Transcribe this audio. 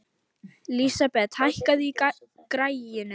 Lísabet, hækkaðu í græjunum.